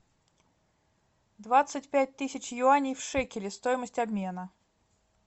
двадцать пять тысяч юаней в шекели стоимость обмена